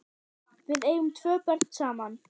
Við eigum tvö börn saman.